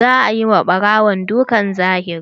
Za a yi ma ɓarawon dukan zahiri.